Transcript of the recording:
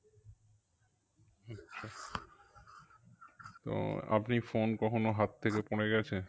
তো আপনি phone কখনও হাত থেকে পরে গেছে?